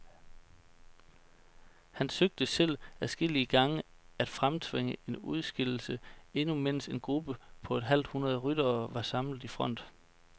Han søgte selv adskillige gange at fremtvinge en udskillelse, endnu mens en gruppe på et halvt hundrede ryttere var samlet i front.